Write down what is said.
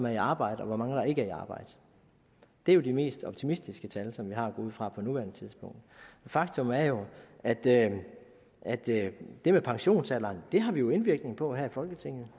i arbejde og hvor mange der ikke er i arbejde det er jo de mest optimistiske tal som vi har at gå ud fra på nuværende tidspunkt faktum er jo at det at det med pensionsalderen har vi indvirkning på her i folketinget